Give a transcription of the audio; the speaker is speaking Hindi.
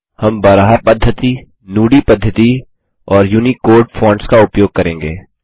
हम बराहा पद्धति नुदी पद्धति और यूनिकोड फॉन्टस का उपयोग करेंगे